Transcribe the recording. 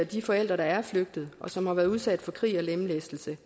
de forældre der er flygtet og som har været udsat for krig og lemlæstelse